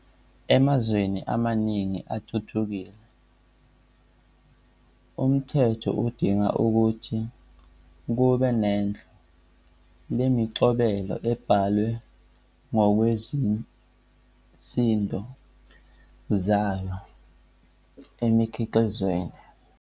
Emazweni amaningi athuthukile, umthetho udinga ukuthi kube nohlu lemiqobelo ebhalwe ngokwezisindo zayo emikhiqizweni.